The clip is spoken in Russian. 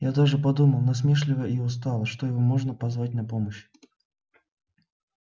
я даже подумал насмешливо и устало что его можно позвать на помощь